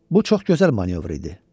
Bu çox gözəl manövr idi.